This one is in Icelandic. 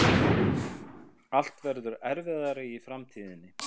Allt verður erfiðara í framtíðinni.